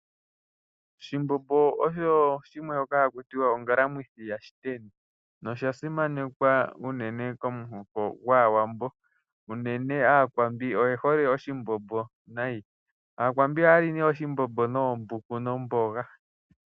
Oshimbombo osho shimwe shoka haku tiwa ongalamwithi yashiteni. Osha simanekwa unene yomuhoko gwaawambo. Unene aakwambi oye hole oshimbombo nayi . Aakwambi ohaya li oshimbombo noombuku nomboga.